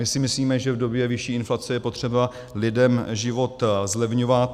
My si myslíme, že v době vyšší inflace je potřeba lidem život zlevňovat.